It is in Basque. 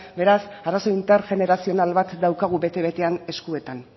beraz arazo intergenerazional bat daukagu bete betean eskuetan